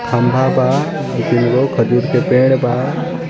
खंभा बा दुगो खजूर के पेड़ बा